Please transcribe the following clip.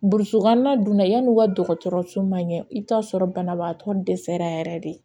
Burusi kɔnɔna dun na yan'u ka dɔgɔtɔrɔso man ɲɛ i bɛ taa sɔrɔ banabaatɔ dɛsɛra yɛrɛ de